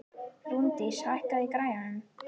Rúndís, hækkaðu í græjunum.